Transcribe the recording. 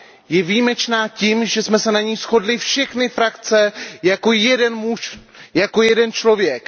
Je výjimečná tím, že jsme se na ní shodly všechny frakce jako jeden muž, jako jeden člověk.